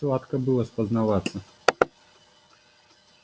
сладко было спознаваться